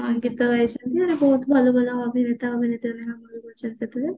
ଗୀତ ଗାଇଛନ୍ତି ବହୁତ ଭଲ ଭଲ ସବୁ ଗୀତ ସେଥିରେ